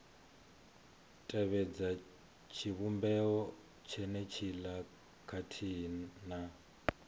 tevhedza tshivhumbeo tshenetshiḽa khathihi na